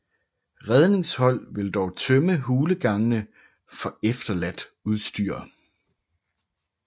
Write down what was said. Redningshold vil dog tømme hulegangene for efterladt udstyr